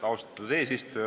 Austatud eesistuja!